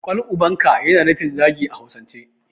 Kwal ubanka' yana nufi zagi a hausance